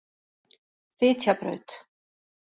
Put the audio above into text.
Fitjabraut